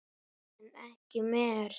En ekki mér.